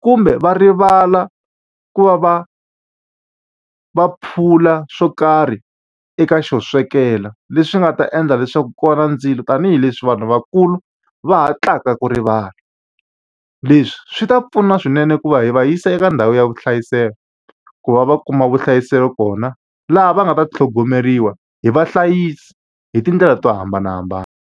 kumbe va rivala ku va va va phula swo karhi eka xo swekela, leswi nga ta endla leswaku ku va na ndzilo. Tanihi leswi vanhu vakulu va hatlaka ku rivala. Leswi swi ta pfuna swinene ku va hi va yisa eka ndhawu ya vuhlayiselo, ku va va kuma vuhlayiseki kona. Laha va nga ta tlhogomeriwa hi vahlayisi hi tindlela to hambanahambana.